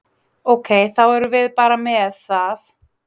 Ok, þá erum við bara með það?